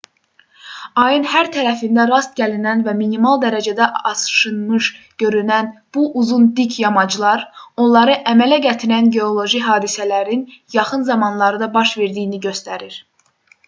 ayın hər tərəfində rast gəlinən və minimal dərəcədə aşınmış görünən bu uzun dik yamaclar onları əmələ gətirən geoloji hadisələrin yaxın zamanlarda baş verdiyini göstərir